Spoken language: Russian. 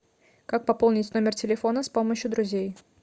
как пополнить номер телефона с помощью друзей